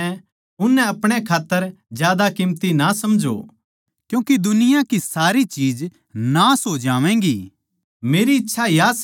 जो भी इस दुनिया म्ह सै उननै आपणे खात्तर ज्यादा कीमती ना समझों क्यूँके दुनिया की सारी चीज नाश हो जावैंगी